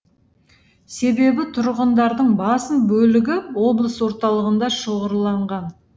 себебі тұрғындардың басым бөлігі облыс орталығында шоғырланған